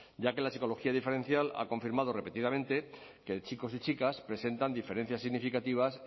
ya que la psicología diferencial ha confirmado repetidamente que chicos y chicas presentan diferencias significativas